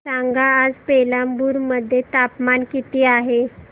सांगा आज पेराम्बलुर मध्ये तापमान किती आहे